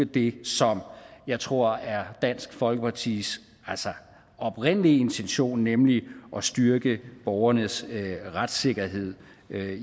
det som jeg tror er dansk folkepartis oprindelige intention nemlig at styrke borgernes retssikkerhed